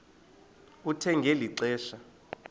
kuthe ngeli xesha